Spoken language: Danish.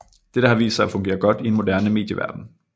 Dette har vist sig at fungere godt i en moderne medieverden